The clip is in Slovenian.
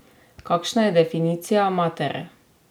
Kakšna je definicija matere?